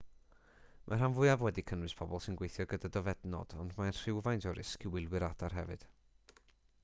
mae'r rhan fwyaf wedi cynnwys pobl sy'n gweithio gyda dofednod ond mae rhywfaint o risg i wylwyr adar hefyd